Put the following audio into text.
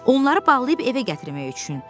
Onları bağlayıb evə gətirmək üçün.